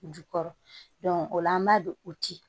Jukɔrɔ o la an b'a don o ci